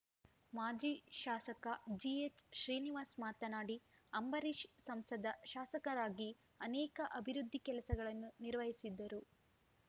ಮಾಜಿ ಶಾಸಕ ಜಿಎಚ್‌ಶ್ರೀನಿವಾಸ್‌ ಮಾತನಾಡಿ ಅಂಬರೀಶ್‌ ಸಂಸದ ಶಾಸಕರಾಗಿ ಅನೇಕ ಅಭಿವೃದ್ದಿ ಕೆಲಸಗಳನ್ನು ನಿರ್ವಹಿಸಿದ್ದರು